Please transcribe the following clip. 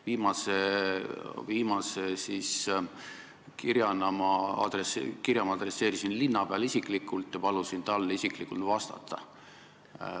Viimase kirja ma adresseerisin linnapeale ja palusin tal isiklikult vastata.